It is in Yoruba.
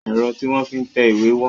Ẹ̀rọ tí wọ́n fi ń tẹ ìwé wọ́n.